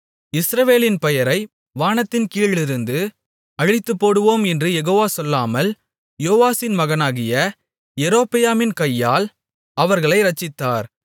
இஸ்ரவேலின் பெயரை வானத்தின் கீழிருந்து அழித்துப்போடுவேன் என்று யெகோவா சொல்லாமல் யோவாசின் மகனாகிய யெரொபெயாமின் கையால் அவர்களை இரட்சித்தார்